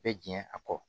Bɛ jɛn a kɔ